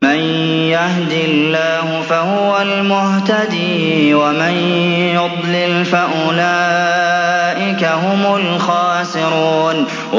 مَن يَهْدِ اللَّهُ فَهُوَ الْمُهْتَدِي ۖ وَمَن يُضْلِلْ فَأُولَٰئِكَ هُمُ الْخَاسِرُونَ